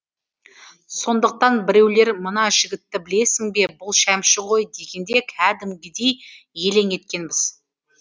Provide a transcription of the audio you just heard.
сондықтан біреулер мына жігітті білесің бе бұл шәмші ғой дегенде кәдімгідей елең еткенбіз